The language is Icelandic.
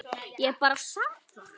Ég bara sit þar.